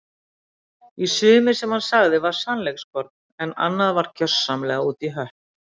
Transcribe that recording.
Í sumu sem hann sagði var sannleikskorn en annað var gersamlega út í hött.